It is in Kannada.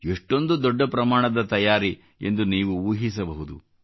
ಎಷ್ಟೊಂದು ದೊಡ್ಡ ಪ್ರಮಾಣದ ತಯಾರಿ ಎಂದು ನೀವು ಊಹಿಸಬಹುದು